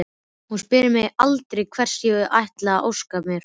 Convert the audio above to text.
Hún spyr mig aldrei hvers ég ætli að óska mér.